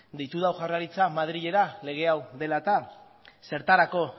deitu du jaurlaritzak madrilera lege hau dela eta zertarako